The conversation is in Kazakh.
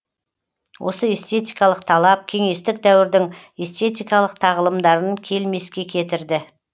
осы эстетикалық талап кеңестік дәуірдің эстетикалық тағылымдарын келмеске кетірді